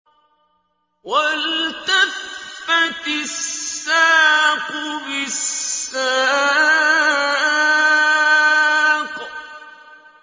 وَالْتَفَّتِ السَّاقُ بِالسَّاقِ